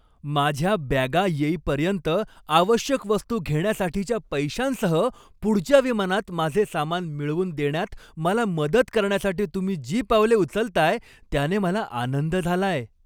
माझ्या बॅगा येईपर्यंत आवश्यक वस्तू घेण्यासाठीच्या पैशांसह, पुढच्या विमानात माझे सामान मिळवून देण्यात मला मदत करण्यासाठी तुम्ही जी पावले उचलताय त्याने मला आनंद झालाय.